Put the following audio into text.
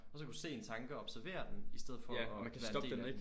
Og så kan du se en tanke og observere den i stedet for at være en del af den